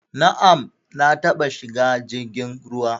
Na'am, na taba shiga jirgin ruwa